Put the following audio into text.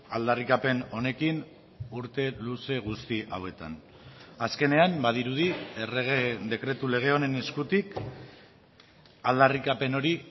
aldarrikapen honekin urte luze guzti hauetan azkenean badirudi errege dekretu lege honen eskutik aldarrikapen hori